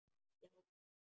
Já mig!